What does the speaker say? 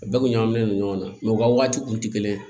A bɛɛ kun ɲagaminen don ɲɔgɔn na u ka waati kun tɛ kelen ye